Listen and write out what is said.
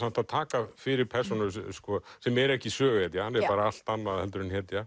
að taka fyrir persónu sem er ekki söguhetja hann er bara allt annað en hetja